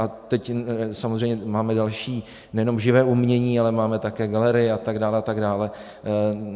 A teď samozřejmě máme další nejenom živé umění, ale máme také galerie a tak dále, a tak dále.